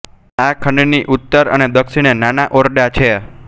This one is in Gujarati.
આ ખંડની ઉત્તર અને દક્ષિણે નાના ઓરડા છે